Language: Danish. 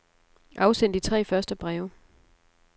Afsend de tre første breve.